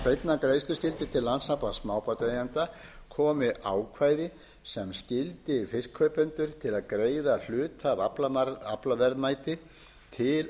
beinnar greiðsluskyldu til landssambands smábátaeigenda komi ákvæði sem skyldi fiskkaupendur til að greiða hluta af aflaverðmæti til